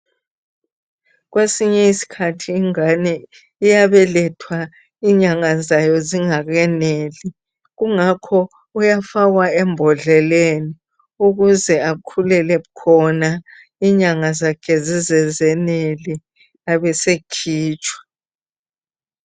Kwesinye iskhathi ingane iyabelethwa inyanga zayo zingakeneli . Kungakho uyafakwa embodleleni ukuze akhulele khona inyanga zakhe zize zenele abesekhitshwa .